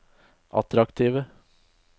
attraktive